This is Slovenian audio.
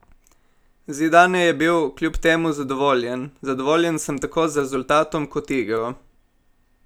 Zidane je bil kljub temu zadovoljen: "Zadovoljen sem tako z rezultatom kot igro.